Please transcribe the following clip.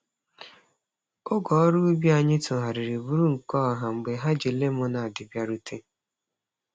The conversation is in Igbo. Oge ọrụ ubi anyị tụgharịrị bụrụ nke ọha mgbe ha ji lemọned bịarute.